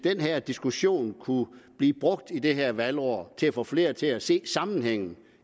at den her diskussion kunne blive brugt i det her valgår til at få flere til at se sammenhængen